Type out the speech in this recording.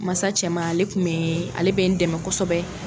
Mansa cɛman ale kun bɛ ale bɛ n dɛmɛ kosɛbɛ.